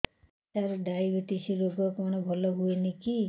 ସାର diabetes ରୋଗ କଣ ଭଲ ହୁଏନି କି